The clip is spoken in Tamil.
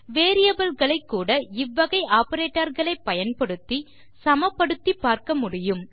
வேரியபிள் களை கூட இவ்வகை ஆப்பரேட்டர் களை பயன்படுத்தி சமப்படுத்திப் பார்க்க முடியும்